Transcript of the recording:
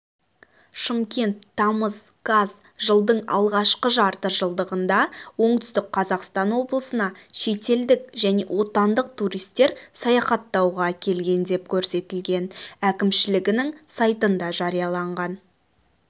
шымкент тамыз қаз жылдың алғашқы жарты жылдығында оңтүстік қазақстан облысына шетелдік және отандық туристер саяхаттауға келген деп көрсетілген әкімшілігінің сайтында жарияланған